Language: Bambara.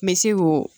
N bɛ se ko